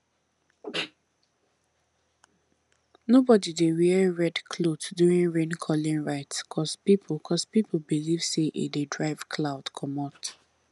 nobody dey wear red cloth during raincalling rite cause people cause people believe say e dey drive cloud comot